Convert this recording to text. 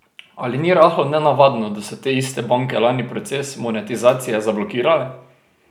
Ali ni rahlo nenavadno, da so te iste banke lani proces monetizacije zablokirale?